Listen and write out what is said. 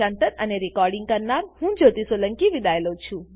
IIT Bombay તરફથી હું જ્યોતી સોલંકી વિદાય લઉં છું